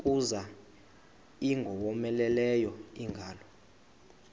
kuza ingowomeleleyo ingalo